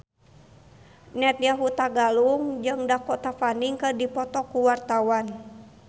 Nadya Hutagalung jeung Dakota Fanning keur dipoto ku wartawan